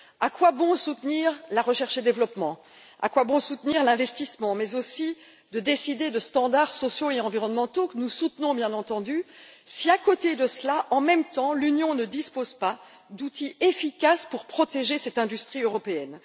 À quoi bon soutenir la recherche et le développement, à quoi bon soutenir l'investissement mais aussi décider de standards sociaux et environnementaux que nous soutenons bien entendu si, à côté de cela, en même temps, l'Union européenne ne dispose pas d'outils efficaces pour protéger cette industrie européenne?